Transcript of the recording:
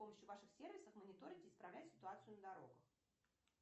с помощью ваших сервисов мониторить и исправлять ситуацию на дорогах